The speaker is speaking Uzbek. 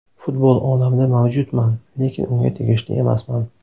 Futbol olamida mavjudman, lekin unga tegishli emasman”.